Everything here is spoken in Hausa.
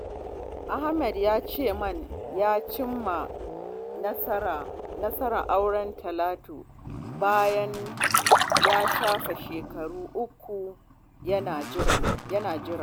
Ahmad ya ce min ya cimma nasarar auren Talatu bayan ya shafe shekaru uku yana jira